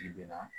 Kile binna